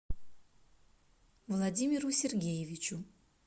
владимиру сергеевичу